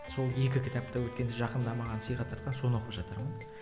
сол екі кітапты өткенде жақында маған сыйға тартқан соны оқып жатырмын